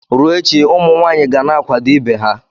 Ruo echi, ụmụ nwanyị ga na-akwado ibe ha.